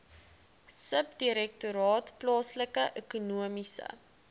subdirektoraat plaaslike ekonomiese